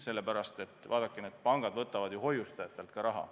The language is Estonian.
Sellepärast, et vaadake, need pangad võtavad ju hoiustajatelt raha.